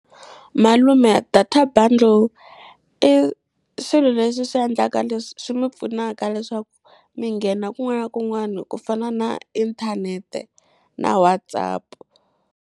Malume data bundle i swilo leswi swi endlaka leswi swi mi pfunaka leswaku mi nghena kun'wana na kun'wana ku fana na inthanete na WhatsApp.